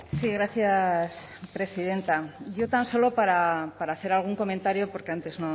sí gracias presidenta yo tan solo para hacer algún comentario porque antes